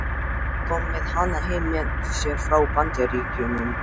Kom með hana heim með sér frá Bandaríkjunum.